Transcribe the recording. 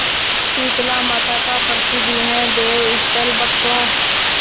शीतलामाता का प्रसिद्ध यह देवस्थल भक्तों